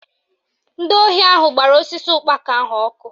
Ndị ohi ahụ gbara osisi ụkpaka ahụ ọkụ